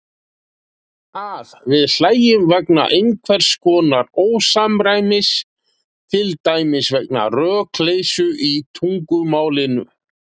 Að við hlæjum vegna einhvers konar ósamræmis, til dæmis vegna rökleysu í tungumálinu.